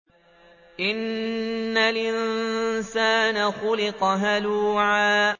۞ إِنَّ الْإِنسَانَ خُلِقَ هَلُوعًا